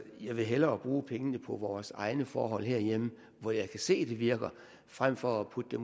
jeg vil hellere bruge pengene på vores egne forhold herhjemme hvor jeg kan se det virker frem for at putte